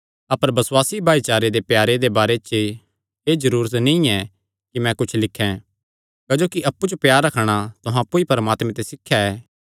अपर बसुआसी भाईचारे दे प्यारे दे बारे च एह़ जरूरत नीं ऐ कि मैं कुच्छ लिखें क्जोकि अप्पु च प्यार रखणा तुहां अप्पु ई परमात्मे ते सिखया ऐ